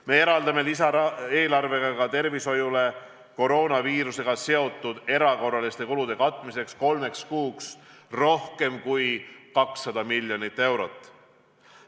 Me eraldame lisaeelarvega ka tervishoiule koroonaviirusega seotud erakorraliste kulude katmiseks kolmeks kuuks rohkem kui 200 miljonit eurot.